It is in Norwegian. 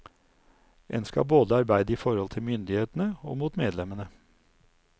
En skal både arbeide i forhold til myndighetene og mot medlemmene.